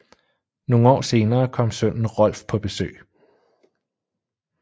Nogle år senere kom sønnen Rolf på besøg